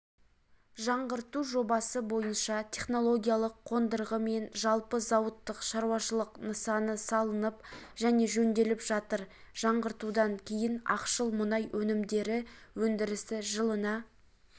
жаңғырту жобасы бойынша технологиялық қондырғы мен жалпы зауыттық шаруашылық нысаны салынып және жөнделіп жатыр жаңғыртудан кейін ақшыл мұнай өнімдері өндірісі жылына